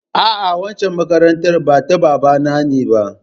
A'a, waccan makarantar ba ta babana ne ba.